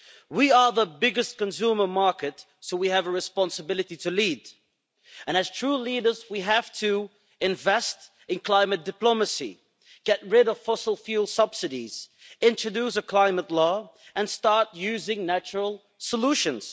We are the biggest consumer market, so we have a responsibility to lead, and as true leaders we have to invest in climate diplomacy, get rid of fossil fuel subsidies, introduce a climate law and start using natural solutions.